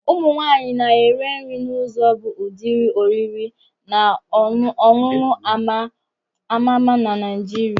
Ụmụ nwaanyị na ere nri n'uzo bu ụdịrị oriri and ọṅụṅụ ama-ma na Naijiria.